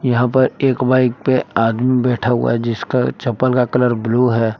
यहां पर एक बाइक पे एक आदमी बैठा हुआ है जिसका चप्पल का कलर ब्लू है।